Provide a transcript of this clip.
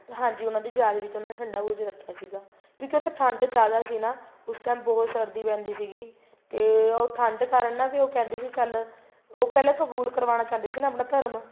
ਹਾਂਜੀ ਉਹਨਾ ਦੀ ਯਾਦ ਵਿੱਚ ਉਹਨਾ ਨੇ ਠੰਡਾ ਬੁਰਜ ਰੱਖਿਆ ਸੀਗਾ ਕਿਉਂਕਿ ਉੱਥੇ ਠੰਡ ਜਿਆਦਾ ਸੀ ਨਾ ਉਸ time ਬਹੁਤ ਸਰਦੀ ਪੈਂਦੀ ਸੀਗੀ ਤੇ ਉਹ ਠੰਡ ਕਾਰਨ ਵੀ ਉਹ ਕਹਿੰਦੇ ਸੀ ਚੱਲ ਉਹ ਪਹਿਲਾ ਕਬੂਲ ਕਰਾਉਣਾ ਚਾਹੁੰਦੇ ਸੀ ਆਪਣਾ ਧਰਮ